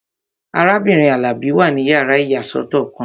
Arábìnrin Alabi wà ní yàrá ìyàsọ́tọ̀ kan